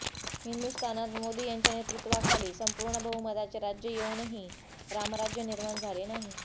हिंदुस्थानात मोदी यांच्या नेतृत्वाखाली संपूर्ण बहुमताचे राज्य येऊनही रामराज्य निर्माण झाले नाही